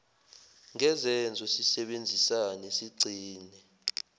ngezenzo sisebenzisane sigcine